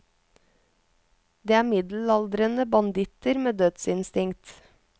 Det er middelaldrende banditter med dødsinstinkt.